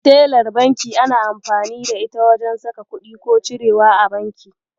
Telar banki ana amfani da ita wajen saka kuɗi ko cirewa a banki.